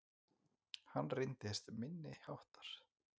Hann reyndist minniháttar